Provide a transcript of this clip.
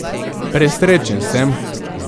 Presrečen sem.